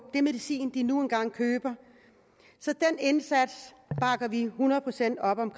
medicin de nu engang køber så den indsats bakker vi hundrede procent op om